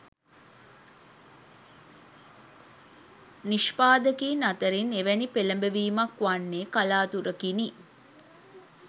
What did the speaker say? නිෂ්පාදකයින් අතරින් එවැනි පෙලඹවීමක් වන්නේ කලාතුරකිනි.